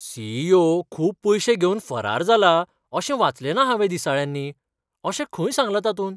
C. E. O. खूब पयशे घेवन फरार जाला अशें वाचलेंना हांवें दिसाळ्यांनी. अशें खंय सांगलां तातूंत?